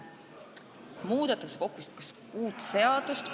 Muudetakse kokku kuut seadust.